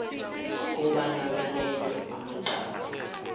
kobana balele amacala